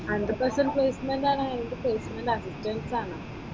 Hundred percent placement ആണോ അതോ placement assistance ആണോ?